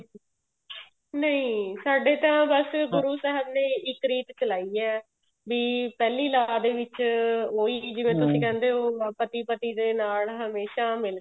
ਨਹੀਂ ਸਾਡੇ ਤਾਂ ਬੱਸ ਗੁਰੂ ਸਾਹਿਬ ਨੇ ਇੱਕ ਰੀਤ ਚਲਾਈ ਹੈ ਵੀ ਪਹਿਲੀ ਲਾਂਵ ਦੇ ਵਿੱਚ ਉਹੀ ਜਿਵੇਂ ਤੁਸੀਂ ਕਹਿੰਦੇ ਹੋ ਪਤੀ ਪਤੀ ਦੇ ਨਾਲ ਹਮੇਸ਼ਾਂ ਮਿਲਕੇ